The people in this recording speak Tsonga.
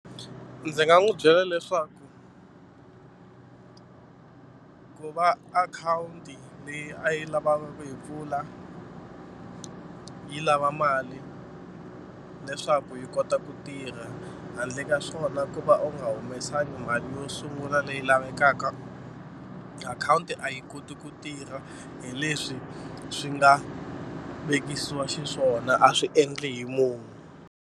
Ndzi nga n'wi byela leswaku ku va akhawunti leyi a yi lavaka ku yi pfula yi lava mali leswaku yi kota ku tirha handle ka swona ku va u nga humesangi mali yo sungula leyi lavekaka akhawunti a yi koti ku tirha hi leswi swi nga vekisiwa xiswona a swi endli hi munhu.